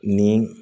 Ni